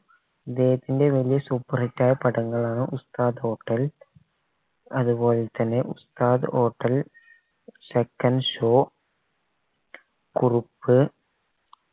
ഇദ്ദേഹത്തിൻറെ വലിയ superhit ആയ പടങ്ങളാണ് ഉസ്താദ് hotel അതുപോൽത്തന്നെ Ustad hotel second show Kurup